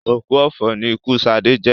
Òkú ọ̀fọ̀ ni ikú Sadé jẹ́